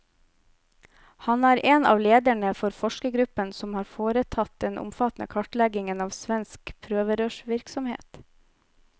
Han er en av lederne for forskergruppen som har foretatt den omfattende kartleggingen av svensk prøverørsvirksomhet.